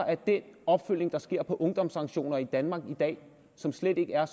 af den opfølgning der sker på ungdomssanktioner i danmark i dag som slet ikke er